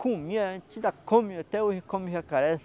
Comia, a gente ainda come, até hoje come jacaré.